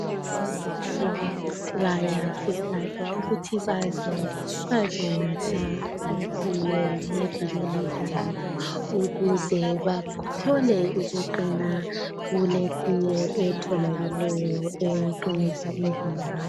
Okhekhe bayakhuthazwa ukuthi baze bazonatha itiye ngeviki elizayo ukuze bathole ukuqina kuletiye etholakeleyo eqinisa imzimba yabo.